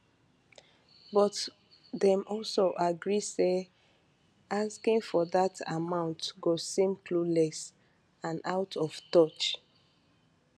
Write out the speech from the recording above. but dem also agree say asking for dat amount go seem clueless and out of touch